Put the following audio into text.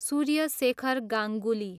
Surya Shekhar Ganguly